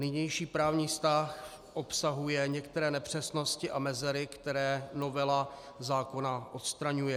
Nynější právní vztah obsahuje některé nepřesnosti a mezery, které novela zákona odstraňuje.